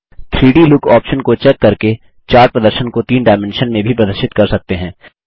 3डी look option को check करके चार्ट प्रदर्शन को तीन डायमेंशन में भी प्रदर्शित कर सकते हैं